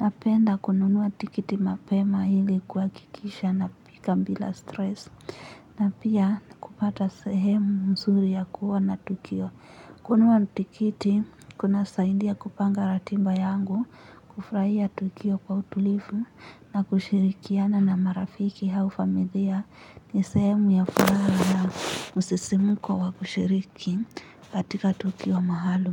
Napenda kununua tikiti mapema ili kuhakikisha nafika bila stress. Na pia kupata sehemu nzuri ya kuona tukio. Kununua tikiti, kunasaindia kupanga ratiba yangu, kufurahia tukio kwa utulivu na kushirikiana na marafiki au familia ni sehemu ya furaha na msisimko wa kushiriki katika tukio maalum.